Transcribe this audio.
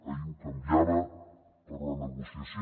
ahir ho canviava per la negociació